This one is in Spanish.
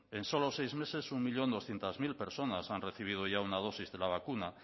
en solo seis meses un millón doscientos mil personas han recibido ya una dosis de la vacuna